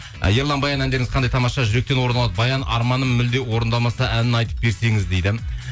ы ерлан баян әндеріңіз қандай тамаша жүректен орын алады баян арманым мүлде орындалмаса әнін айтып берсеңіз дейді